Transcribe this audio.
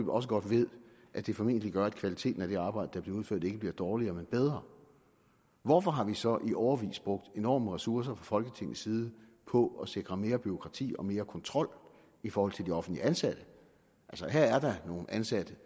også godt ved at det formentlig gør at kvaliteten af det arbejde der bliver udført ikke bliver dårligere men bedre hvorfor har vi så i årevis brugt enorme ressourcer fra folketingets side på at sikre mere bureaukrati og mere kontrol i forhold til de offentlige ansatte altså her er der nogle ansatte